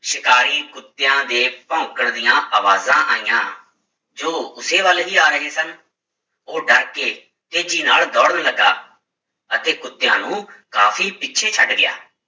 ਸ਼ਿਕਾਰੀ ਕੁੱਤਿਆਂ ਦੇ ਭੋਂਕਣ ਦੀਆਂ ਆਵਾਜ਼ਾਂ ਆਈਆਂ, ਜੋ ਉਸੇ ਵੱਲ ਹੀ ਆ ਰਹੇ ਸਨ, ਉਹ ਡਰ ਕੇ ਤੇਜ਼ੀ ਨਾਲ ਦੌੜਨ ਲੱਗਾ ਅਤੇ ਕੁੁੱਤਿਆਂ ਨੂੰ ਕਾਫ਼ੀ ਪਿੱਛੇ ਛੱਡ ਗਿਆ।